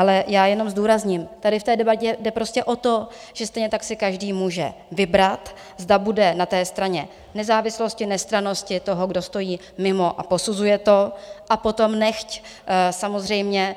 Ale já jenom zdůrazňuji, tady v té debatě jde prostě o to, že stejně tak si každý může vybrat, zda bude na té straně nezávislosti, nestrannosti toho, kdo stojí mimo a posuzuje to, a potom nechť samozřejmě